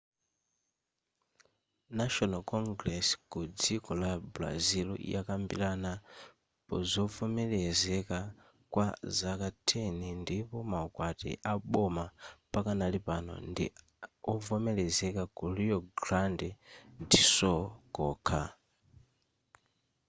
national congress ku dziko la brazil yakambirana pazovomerezeka kwa zaka 10 ndipo maukwati aboma pakanali pano ndi ovomerezeka ku rio grande do sul kokha